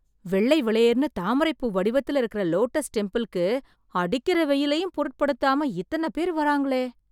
வெள்ளை வெளேர்ன்னு தாமரைப் பூ வடிவத்துல இருக்கற லோட்டஸ் டெம்பிளுக்கு, அடிக்கற வெயிலையும் பொருட்படுத்தாம, எத்தன பேர் வர்றாங்களே...